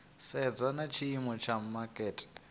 sedza na tshiimo tsha makete